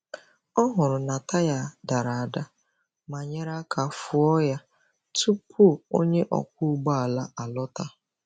Ọ hụrụ na taya dara ada ma nyere aka fụọ ha tupu onye ọkwọ ụgbọ ala alọta.